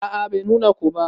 A'a Bai nuna ko ba.